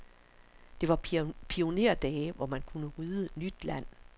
Det var pionerdage, hvor man kunne rydde nyt land.